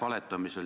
Aitäh!